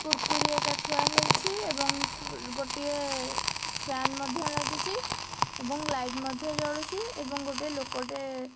କୁରକୁରୀ ଏକା ଥୁଆ ହେଇଛି ଏବଂ ଫ୍ଲୁ ଗୋଟିଏ ଫ୍ୟାନ୍ ମଧ୍ୟ ଲାଗିଚି ଏବଂ ଲାଇଟ୍ ମଧ୍ୟ ଜଳୁଚି ଏବଂ ଗୋଟେ ଲୋକଟେ--